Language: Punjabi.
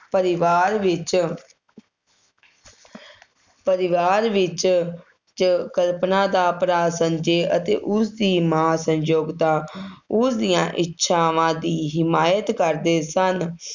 ਪਰਿਵਾਰ ਵਿੱਚ ਪਰਿਵਾਰ ਵਿੱਚ 'ਚ ਕਲਪਨਾ ਦਾ ਭਰਾ ਸੰਜੇ ਅਤੇ ਉਸਦੀ ਮਾਂ ਸੰਜੋਯਤਾ ਉਸ ਦੀਆਂ ਇੱਛਾਵਾਂ ਦੀ ਹਿਮਾਇਤ ਕਰਦੇ ਸਨ,